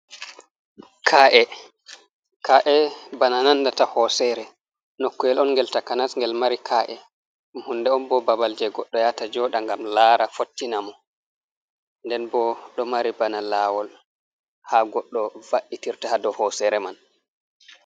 Ka’e bana nandata hosere nokkuwel on ngel takanas ngel mari ka’e man, hunde on bo babal je goɗɗo yata joda ngam lara fottina mo, nden bo ɗo mari bana lawol ha goɗɗo va’itirta hado hosere man.